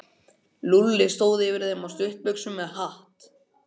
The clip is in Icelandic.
Lúlli stóð yfir þeim á stuttbuxum með hatt.